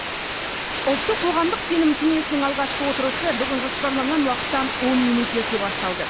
ұлттық қоғамдық сенім кеңесінің алғашқы отырысы бүгін жоспарланған уақыттан он минут ерте басталды